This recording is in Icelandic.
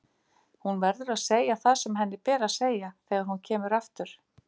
Hún verður að segja það sem henni ber að segja þegar hún kemur aftur.